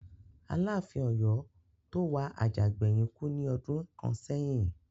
Aláàfin Ọ̀yọ́ tó wà àjà gbẹ̀yìn kú ní ọdún kàn sẹ́yìn